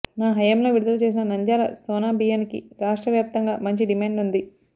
నా హయాంలో విడుదల చేసిన నంద్యాల సోనా బియ్యానికి రాష్ట్ర వ్యాప్తంగా మంచి డిమాండ్ ఉంది